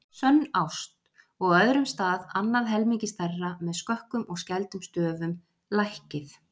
SÖNN ÁST og á öðrum stað annað helmingi stærra með skökkum og skældum stöfum, LÆKKIÐ